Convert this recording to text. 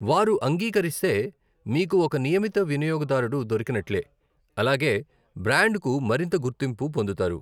వారు అంగీకరిస్తే, మీకు ఒక నియమిత వినియోగదారుడు దొరికినట్లే, అలాగే బ్రాండ్కు మరింత గుర్తింపు పొందుతారు!